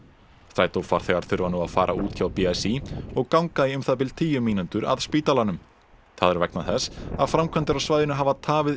strætó farþegar þurfa nú að fara út hjá b s í og ganga í um það bil tíu mínútur að spítalanum það er vegna þess að framkvæmdir á svæðinu hafa tafið